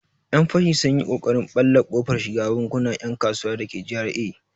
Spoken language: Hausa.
Yan fashi sun yi ƙoƙarin ɓalle kofar shiga bankunan 'yan kasuwa dake GRA.